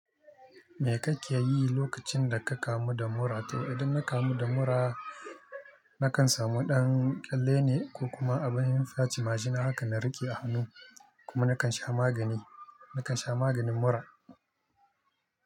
Me kake yi lokacin da ka kamu da mura to? Idan na kamu da mura, na kan samu ɗan ƙyalle ne ko kuma abin fyace majina haka na riƙe a hannu kuma na kan sha magani, na kan sha maganin mura.